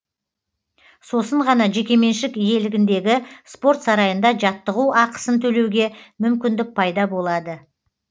сосын ғана жекеменшік иелігіндегі спорт сарайында жаттығу ақысын төлеуге мүмкіндік пайда болады